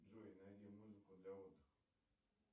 джой найди музыку для отдыха